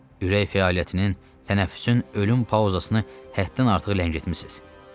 Ürək fəaliyyətinin, tənəffüsün, ölüm pauzasını həddən artıq ləngitmisiz.